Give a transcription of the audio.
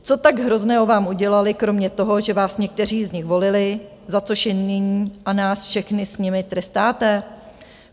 Co tak hrozného vám udělali kromě toho, že vás někteří z nich volili, za což je nyní a nás všechny s nimi trestáte?